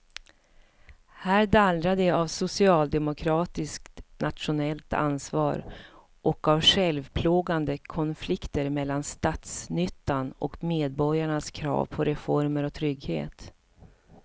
Här dallrar det av socialdemokratiskt nationellt ansvar och av självplågande konflikter mellan statsnyttan och medborgarnas krav på reformer och trygghet.